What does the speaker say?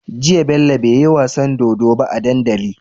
Jiya bello beyi wasan dodo ba a dandali